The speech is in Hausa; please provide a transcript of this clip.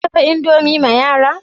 Kin dafa indomie ma yara?